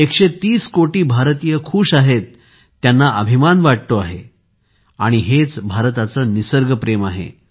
130 कोटी भारतीय आनंदी आहेत त्यांना अभिमान वाटतो आहे हे भारताचे निसर्गप्रेम आहे